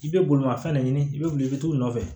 I bɛ bolimafɛn de ɲini i bɛ wuli i bɛ t'u nɔfɛ